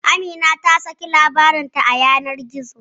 Amina ta saki labarin ta a yanar gizo